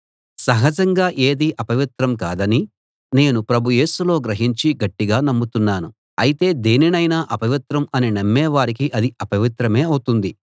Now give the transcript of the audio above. సహజంగా ఏదీ అపవిత్రం కాదని నేను ప్రభు యేసులో గ్రహించి గట్టిగా నమ్ముతున్నాను అయితే దేనినైనా అపవిత్రం అని నమ్మే వారికి అది అపవిత్రమే అవుతుంది